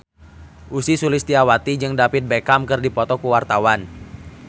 Ussy Sulistyawati jeung David Beckham keur dipoto ku wartawan